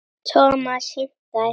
Thomas hikaði.